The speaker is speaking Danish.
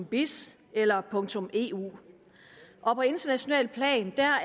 biz eller eu og på internationalt plan er